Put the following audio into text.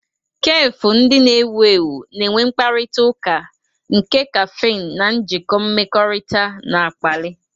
Kefu ndị na-ewu ewu na-enwe mkparịta ụka, nke kaffin na njikọ mmekọrịta na-akpali.